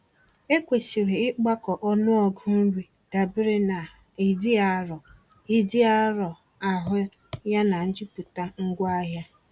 Ekwesịrị ịgbakọ ọnụọgụ nri dabere na ịdị arọ ịdị arọ ahụ yana njupụta ngwaahịa.